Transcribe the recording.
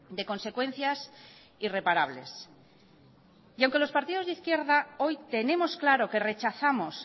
de consecuencias irreparables y aunque los partidos de izquierda hoy tenemos claro que rechazamos